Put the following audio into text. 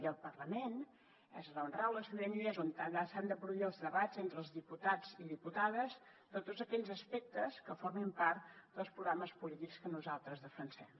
i al parlament és on rau la sobirania és on s’han de produir els debats entre els diputats i diputades de tots aquells aspectes que formin part dels programes polítics que nosaltres defensem